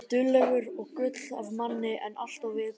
Þú ert duglegur og gull af manni en alltof viðkvæmur.